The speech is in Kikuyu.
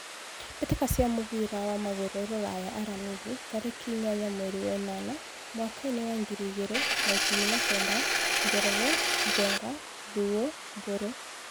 Mbĩtĩka cia mũbira wa magũrũ Ruraya Aramithi tarĩki inyanya mweri wa ĩnana mwakainĩ wa ngiri igĩrĩ na ikũmi na kenda : Njoroge, Njenga, Thuo, Mburu.